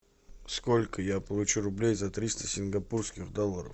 сколько я получу рублей за триста сингапурских долларов